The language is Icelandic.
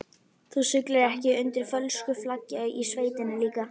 Þú siglir ekki undir fölsku flaggi í sveitinni líka?